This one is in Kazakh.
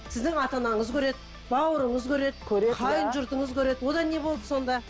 сіздің ата анаңыз көреді бауырыңыз көреді көреді иә қайын жұртыңыз көреді одан не болды сонда